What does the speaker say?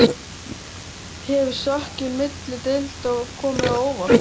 Hefur stökkið milli deilda komið á óvart?